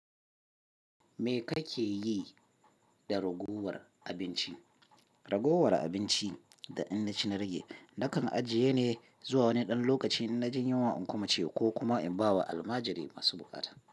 Me kake yi da ragowar abinci? Ragowar abinci da in na ci na rage, nakan ajiye ne zuwa wani ɗan lokaci inna jin yunwa in kuma ci ko kuma in ba wa almajirai masu buƙata.